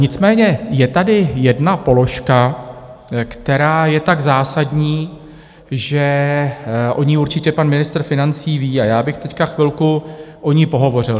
Nicméně je tady jedna položka, která je tak zásadní, že o ní určitě pan ministr financí ví, a já bych teď chvilku o ní pohovořil.